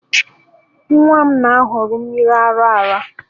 Nwa m na-ahọrọ mmiri ara ara